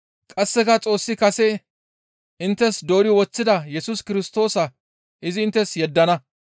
Qasseka Xoossi kase inttes doori woththida Yesus Kirstoosa izi inttes yeddana.